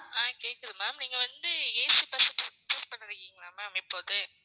ஆஹ் கேக்குது ma'am நீங்க வந்து AC bus book பண்ணிருக்கீங்களா? ma'am இப்போ வந்து